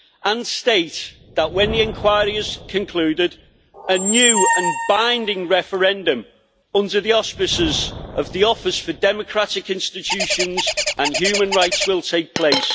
and state, that when the inquiry has concluded, a new and binding referendum under the auspices of the Office for Democratic Institutions and Human Rights will take place.